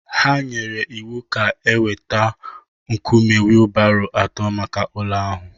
Ha nyere iwu ka e weta nkume wheelbarrow atọ maka ụlọ ahụ